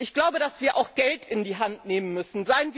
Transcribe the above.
Ich glaube, dass wir auch Geld in die Hand nehmen müssen.